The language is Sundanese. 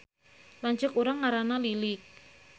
Lanceuk urang ngaranna Lilik